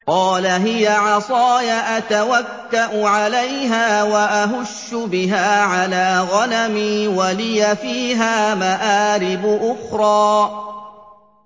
قَالَ هِيَ عَصَايَ أَتَوَكَّأُ عَلَيْهَا وَأَهُشُّ بِهَا عَلَىٰ غَنَمِي وَلِيَ فِيهَا مَآرِبُ أُخْرَىٰ